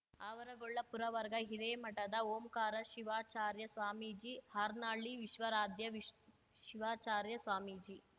ಆವರಗೊಳ್ಳ ಪುರವರ್ಗ ಹಿರೇಮಠದ ಓಂಕಾರ ಶಿವಾಚಾರ್ಯ ಸ್ವಾಮೀಜಿ ಹಾರ್ನಳ್ಳಿ ವಿಶ್ವರಾಧ್ಯ ವಿಶ್ ಶಿವಾಚಾರ್ಯ ಸ್ವಾಮೀಜಿ